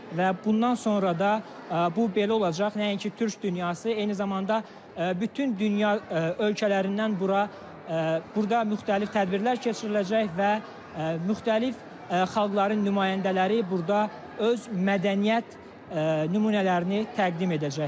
Və bundan sonra da bu belə olacaq, nəinki Türk dünyası, eyni zamanda bütün dünya ölkələrindən bura burda müxtəlif tədbirlər keçiriləcək və müxtəlif xalqların nümayəndələri burda öz mədəniyyət nümunələrini təqdim edəcəklər.